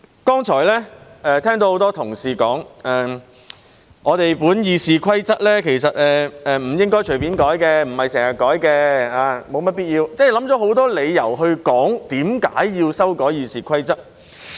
剛才聽到很多同事說，我們的《議事規則》其實不應隨便修改，不是經常修改的，沒有甚麼必要也不會修改；他們想出很多理由解釋為何要修改《議事規則》。